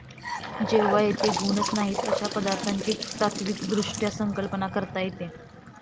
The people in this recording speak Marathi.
तेव्हा जेथे गुणच नाहित अशा पदार्थांची तात्विकदृष्ट्या संकल्पना करता येते.